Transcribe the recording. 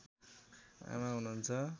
आमा हुनुहुन्छ